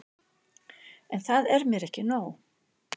En það er mér ekki nóg.